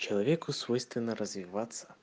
человеку свойственно развиваться